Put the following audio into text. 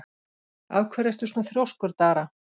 Af hverju ertu svona þrjóskur, Dara?